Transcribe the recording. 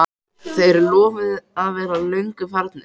Þeir lofuðu að vera löngu farnir.